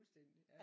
Fuldstændig ja